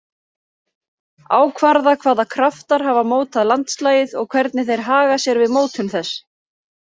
Ákvarða hvaða kraftar hafa mótað landslagið og hvernig þeir haga sér við mótun þess.